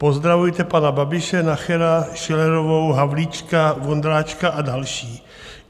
Pozdravujte pana Babiše, Nachera, Schillerovou, Havlíčka, Vondráčka a další.